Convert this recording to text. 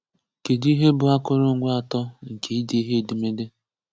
Kedụ ihe bụ akụrụngwa atọ nke ide edemede?